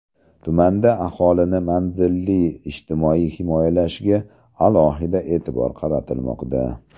Tumanda aholini manzilli ijtimoiy himoyalashga alohida e’tibor qaratilmoqda.